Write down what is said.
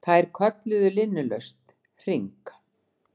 Þær kölluðu linnulaust HRING!